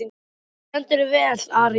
Þú stendur þig vel, Aría!